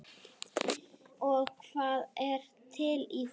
Og hvað er til í því?